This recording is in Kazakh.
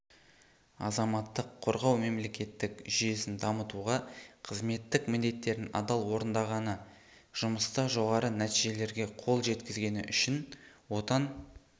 азаматтық қорғау мемлекеттік жүйесін дамытуға қызметтік міндеттерін адал орындағаны жұмыста жоғары нәтижелерге қол жеткізгені үшін отан